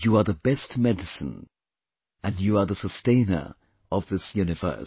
You are the best medicine, and you are the sustainer of this universe